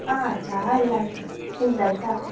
ಹಾ ಚಾ ಎಲ್ಲ ಆಯ್ತು, ನಿಮ್ದ್ ಆಯ್ತಾ?